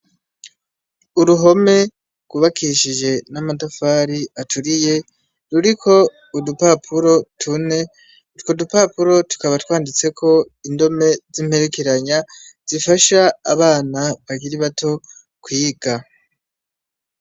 Uruhome rwubakishije n'amatafari aturiye, ruriko udupapuro tune, utwo dupapuro tukaba twanditseko indome z'imperekeranya zifasha abana bakiri bato kwiga.